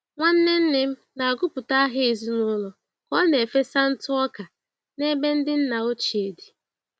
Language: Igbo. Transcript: Nwanne nne m na-agụpụta aha ezinụlọ ka ọ na-efesa ntụ ọka n'ebe ndị nna ochie dị.